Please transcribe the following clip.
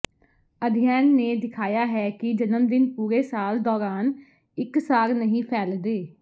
ਅਧਿਐਨ ਨੇ ਦਿਖਾਇਆ ਹੈ ਕਿ ਜਨਮਦਿਨ ਪੂਰੇ ਸਾਲ ਦੌਰਾਨ ਇਕਸਾਰ ਨਹੀਂ ਫੈਲਦੇ